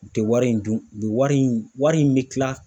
U tɛ wari in dun , u bɛ wari in bɛ kila